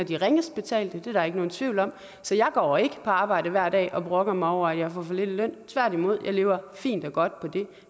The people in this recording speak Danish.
de ringest betalte det er der ikke nogen tvivl om så jeg går ikke på arbejde hver dag og brokker mig over at jeg får for lidt i løn tværtimod jeg lever fint og godt på det